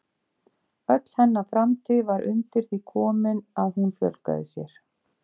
Öll hennar framtíð var undir því komin að hún fjölgaði sér.